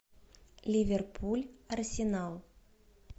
ливерпуль арсенал